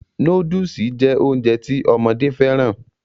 Nóódùsì jẹ́ Ounjẹ ti ọmọdé fẹ́ràn